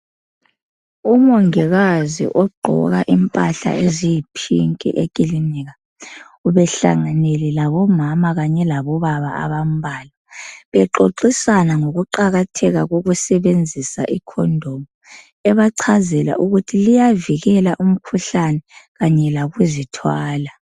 Umongikazi ogqoka impahla eziyiphinki ekilinika ubehlanganele labomama kanye labo baba abambalwa bexoxisana ngokuqakathekisa koku sebenzisa ikhomdomu ebachazela ukuthi liyavikela imikhuhlane kanye lokuzithwala.